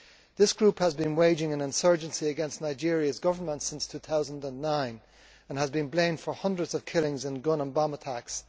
This group has been waging an insurgency against Nigeria's Government since 2009 and has been blamed for hundreds of killings and gun and bomb attacks.